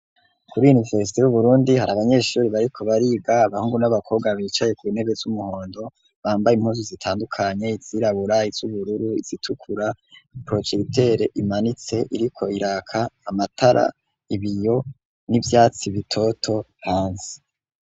Kuri universite y'uburundi hari abanyeshuri bariko bariga, abahungu n'abakobwa bicaye ku ntebe z'umuhondo ,bambaye impuzu zitandukanye izirabura ,iz'ubururu ,izitukura, projetere imanitse iriko iraka, amatara ,ibiyo ,n'ivyatsi bitoto hanze.